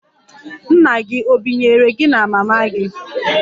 Nna gị ọ̀ binyere gị na mama gị?